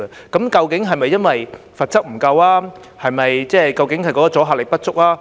究竟是否由於罰則不足夠抑或阻嚇力不足？